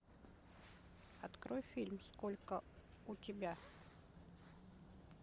открой фильм сколько у тебя